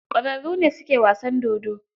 Ķwararru ne su ke wasan dodo.